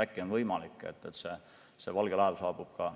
Äkki on võimalik, et valge laev saabub ka